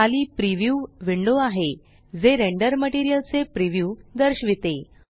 खाली प्रीव्यू पूर्वेक्षण विंडो आहे जे रेंडर्ड मटेरियल चे प्रीव्यू दर्शविते